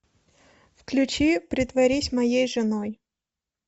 включи притворись моей женой